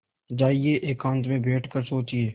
जाइए एकांत में बैठ कर सोचिए